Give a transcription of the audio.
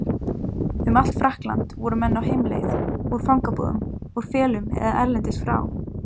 Um allt Frakkland voru menn á heimleið, úr fangabúðum, úr felum eða erlendis frá.